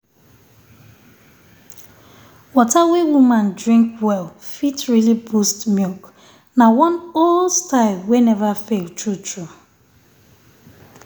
water wey woman um drink well fit really boost milk na one old style wey never fail… true true.